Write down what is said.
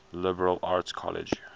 liberal arts college